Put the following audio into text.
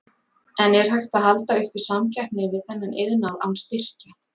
En er hægt að halda uppi samkeppni við þennan iðnað án styrkja?